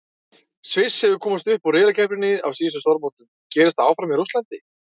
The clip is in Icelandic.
Sviss hefur komist upp úr riðlakeppninni á síðustu stórmótum, gerist það áfram í Rússlandi?